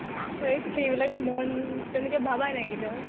অহ সেইবিকা মন তেনেকে ভাবাই নাই কেতিয়াও।